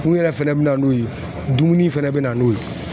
Mun yɛrɛ fɛnɛ be na n'o ye dumuni fɛnɛ be na n'o ye